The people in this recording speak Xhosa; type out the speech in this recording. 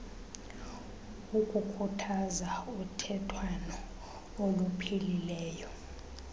ukukhuthaza uthethwano oluphilileyo